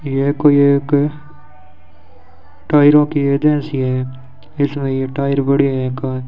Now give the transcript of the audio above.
यह कोई एक टायरों की एजेंसी है इसमे ये टायर बड़े है एक --